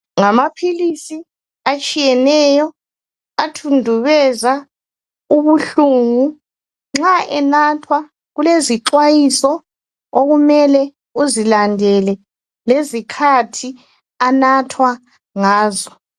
Ngamaphilisi atshiyeneyo athundubeza ubuhlungu. Nxa enathwa ilezixwayiso okumele uzilandele ngesikhathi anathwa ngaso.